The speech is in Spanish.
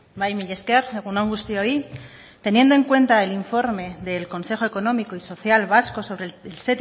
bai mila esker egun on guztioi teniendo en cuenta el informe del consejo económico y social vasco sobre el